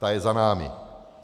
Ta je za námi.